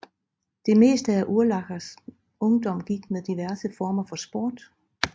Det meste af Urlachers ungdom gik med diverse former for sport